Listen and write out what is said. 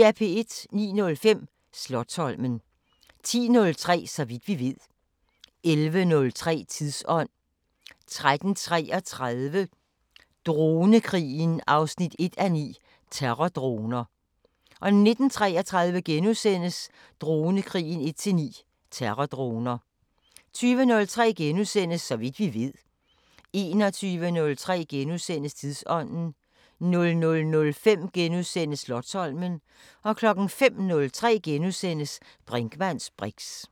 09:05: Slotsholmen 10:03: Så vidt vi ved 11:03: Tidsånd 13:33: Dronekrigeren 1:9 – Terrordroner 19:33: Dronekrigeren 1:9 – Terrordroner * 20:03: Så vidt vi ved * 21:03: Tidsånd * 00:05: Slotsholmen * 05:03: Brinkmanns briks *